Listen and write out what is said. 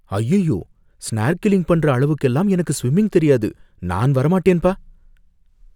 அய்யய்யோ! ஸ்நார்கிலிங் பண்ற அளவுக்கெல்லாம் எனக்கு ஸ்விம்மிங் தெரியாது, நான் வர மாட்டேன் பா!